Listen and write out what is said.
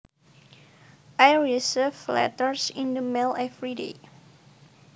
I receive letters in the mail every day